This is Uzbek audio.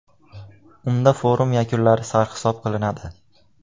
Unda forum yakunlari sarhisob qilinadi.